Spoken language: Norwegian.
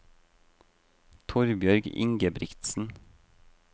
Torbjørg Ingebrigtsen